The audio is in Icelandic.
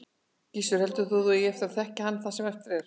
Gissur: Heldur þú að þú eigir eftir að þekkja hann það sem eftir er?